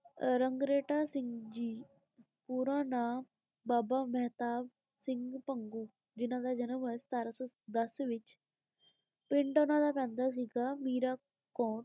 ਆਹ ਰੰਗਰੇਟਾ ਸਿੰਘ ਜੀ ਪੂਰਾ ਨਾਂ ਬਾਬਾ ਮਹਿਤਾਬ ਸਿੰਘ ਭੰਗੂ ਜਿਨ੍ਹਾਂ ਦਾ ਜਨਮ ਹੋਇਆ ਸਤਾਰਾਂ ਸੌ ਦਸ ਵਿਚ ਪਿੰਡ ਓਨਾ ਦਾ ਪੈਂਦਾ ਸੀਗਾ ਮੀਰਾਂ ਕੋਟ।